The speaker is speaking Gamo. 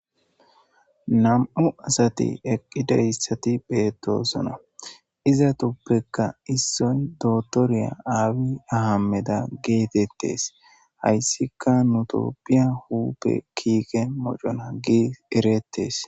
Nam'u asati eqqideyssati beettosona iza tuppekka issoy dotoriya aawi ahameda geetettes hayssika nutopphiya huupe kiike mocona gi ereettes.